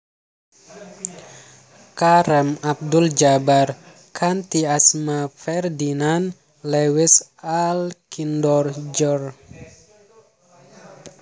Kareem Abdul Jabbar kanthi asma Ferdinand Lewis Alcindor Jr